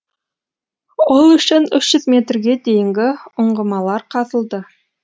ол үшін үш жүз метрге дейінгі ұңғымалар қазылды